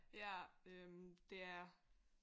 Ja øh det er